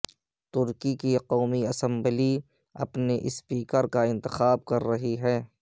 ترکی کی قومی اسمبلی اپنے اسپیکر کا انتخاب کر رہی ہے